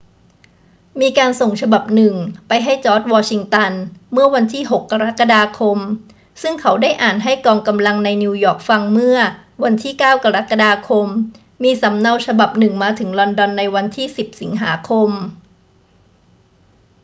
มีการส่งฉบับหนึ่งไปให้จอร์จ วอชิงตัน เมื่อวันที่ 6 กรกฎาคม ซึ่งเขาได้อ่านให้กองกำลังในนิวยอร์กฟังเมื่อวันที่ 9 กรกฎาคม มีสำเนาฉบับหนึ่งมาถึงลอนดอนในวันที่ 10 สิงหาคม